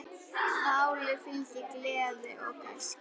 Páli fylgir gleði og gæska.